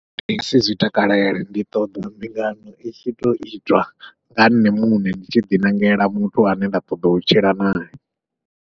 Ndi ngasi zwi takalela, ndi ṱoḓa mbingano i tshi tou itwa nga nṋe muṋe ndi tshi ḓiṋangela muthu ane nda ṱoḓa u tshila nae.